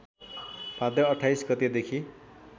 भाद्र २८ गतेदेखि